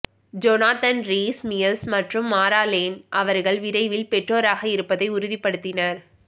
Jonathan Rhys Meyers மற்றும் Mara Lane அவர்கள் விரைவில் பெற்றோர் ஆக இருப்பதை உறுதிப்படுத்தினர்